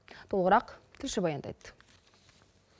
толығырақ тілші баяндайды